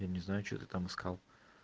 я не знаю что ты там искал